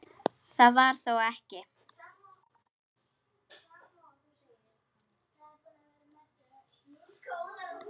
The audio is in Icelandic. Það var þó ekki.?